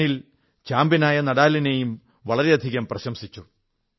Daniil ചാമ്പ്യനായ നാദാലിനെയും വളരെയധികം പ്രശംസിച്ചു